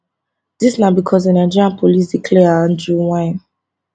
dis na becos di nigeria police declare andrew wynne